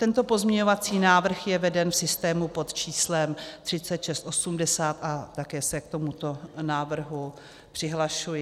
Tento pozměňovací návrh je veden v systému pod číslem 3680 a také se k tomuto návrhu přihlašuji.